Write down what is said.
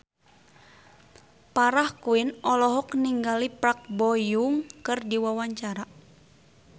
Farah Quinn olohok ningali Park Bo Yung keur diwawancara